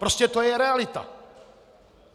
Prostě to je realita!